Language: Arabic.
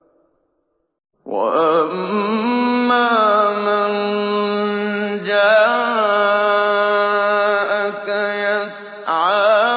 وَأَمَّا مَن جَاءَكَ يَسْعَىٰ